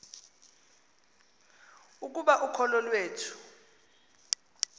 ukuba ukholo iwethu